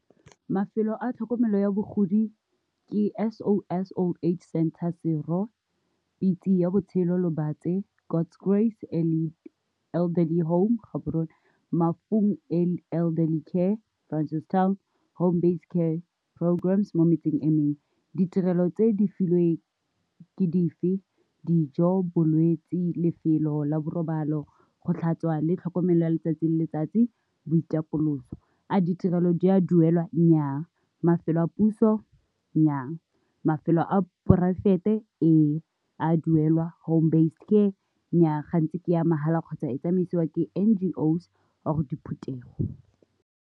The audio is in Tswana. Mafelo a tlhokomelo ya bogodi ke S_O_S_O_H center Sero Pitse ya botshelo lobatse, God's Grace, Elderly Home Gaborone, Mafung Elderly care ka Francis town, Home based care programms mo metsing emeng. Ditirelo tse di filweng ke dife? Dijo, bolwetsi lefelo la borobalo, go tlhatswa le tlhokomelo ya letsatsi le letsatsi, boitapoloso. A ditirelo di a duelwa? Nnyaa, Mafelo a puso? Nnyaa, Mafelo a poraefete? Ee, a duelwa, Home based care? Nnyaa, gantsi ke ya mahala kgotsa e tsamaisiwa ke N_G_O's or di diphuthego.